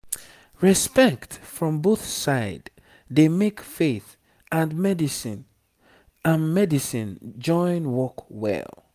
respect from both side dey make faith and medicine and medicine join work well